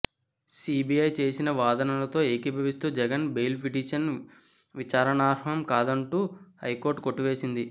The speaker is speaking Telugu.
సీబీఐ చేసిన వాదనలతో ఏకీభవిస్తూ జగన్ బెయిల్ పిటిషన్ విచారణార్హం కాదంటూ హైకోర్టు కొట్టివేసింది